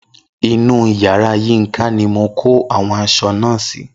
Inú yàrá Yínka ni mo kó àwọn aṣọ náà sí